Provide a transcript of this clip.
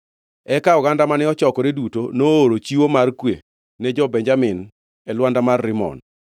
Eka oganda mane ochokore duto nooro chiwo mar kwe ne jo-Benjamin e lwanda mar Rimon.